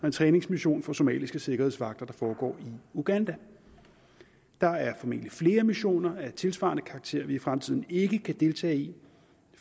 en træningsmission for somaliske sikkerhedsvagter der foregår i uganda der er formentlig flere missioner af tilsvarende karakter vi i fremtiden ikke kan deltage i